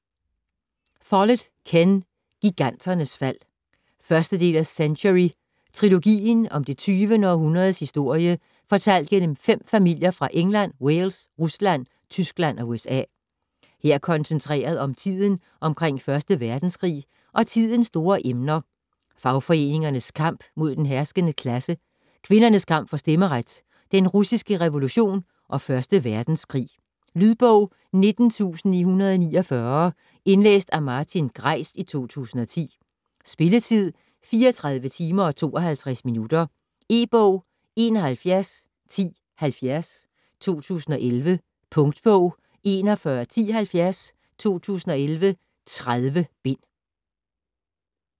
Follett, Ken: Giganternes fald 1. del af Century trilogien. Om det 20. århundredes historie fortalt gennem 5 familier fra England, Wales, Rusland, Tyskland og USA. Her koncentreret om tiden omkring 1. verdenskrig, og tidens store emner: fagforeningernes kamp mod den herskende klasse, kvinders kamp for stemmeret, den russiske revolution og første verdenskrig. Lydbog 19949 Indlæst af Martin Greis, 2010. Spilletid: 34 timer, 52 minutter. E-bog 711070 2011. Punktbog 411070 2011. 30 bind.